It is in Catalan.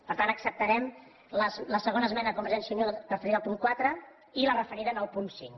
per tant acceptarem la segona esmena de convergència i unió referida al punt quatre i la referida al punt cinc